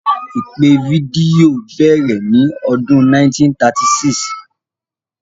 Ìpè fídíò bẹ̀rẹ̀ ní ọdún 1936.